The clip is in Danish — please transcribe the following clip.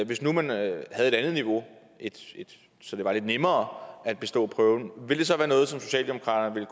hvis nu man havde havde et andet niveau så det var lidt nemmere at bestå prøven ville det så være noget som socialdemokratiet